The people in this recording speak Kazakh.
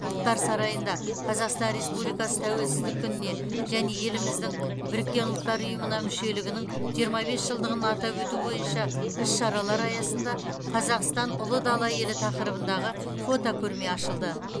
ұлттар сарайында қазақстан республикасы тәуелсіздік күніне және еліміздің біріккен ұлттар ұйымына мүшелігінің жиырма бес жылдығын атап өту бойынша іс шаралар аясында қазақстан ұлы дала елі тақырыбындағы фотокөрме ашылды